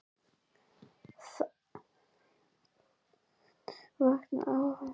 Þjálfun Vandræðalegasta augnablik?